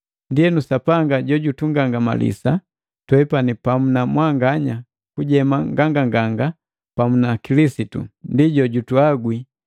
Ndienu Sapanga jojutugangamalisa twepani pamu na mwanganya kujema nganganganga pamu na Kilisitu. Ndi jojutuhagwi,